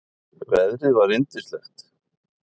Veðrið var yndislegt.